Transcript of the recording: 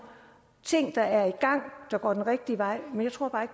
ting der er i gang går den rigtige vej men jeg tror bare